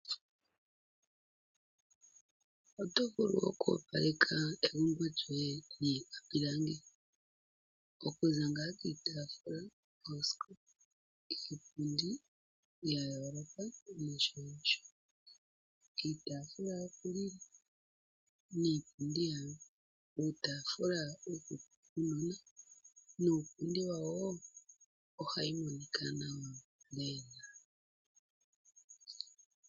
Oto vulu okwoopaleka egumbo lyoye niikwapulangi okuza kiitafula, iipundi, oosikopa ya yooloka nosho nosho. Iitafula yokulila niipundi yawo uutafula wuunona nuupundi wayo ohayi monika nawa lela.